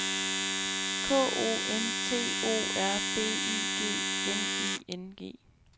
K O N T O R B Y G N I N G